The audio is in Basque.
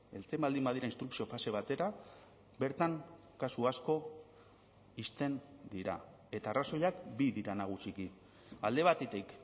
heltzen baldin badira instrukzio fase batera bertan kasu asko ixten dira eta arrazoiak bi dira nagusiki alde batetik